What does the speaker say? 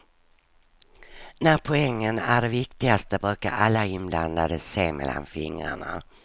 När poängen är det viktigaste brukar alla inblandade se mellan fingrarna.